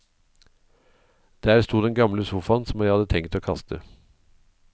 Der sto den gamle sofaen, som jeg hadde tenkt å kaste.